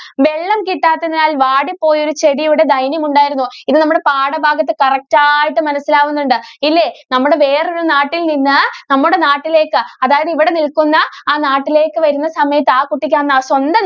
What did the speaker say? വെള്ളം കിട്ടാത്തതിനാല്‍ വാടി പോയ ഒരു ചെടിയുടെ ദൈന്യം ഉണ്ടായിരുന്നു. ഇത് നമ്മടെ പാഠഭാഗത്ത് correct ആയിട്ട് മനസ്സിലാവുന്നുണ്ട്. ഇല്ലേ? നമ്മുടെ വേറൊരു നാട്ടില്‍ നിന്ന് നമ്മുടെ നാട്ടിലേക്ക്, അതായത് ഇവിടെ നില്‍ക്കുന്ന ആ നാട്ടിലേക്ക് വരുന്ന സമയത്ത് ആ കുട്ടിക്ക് അന്നാ സ്വന്തം